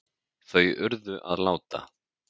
Þau urðu að láta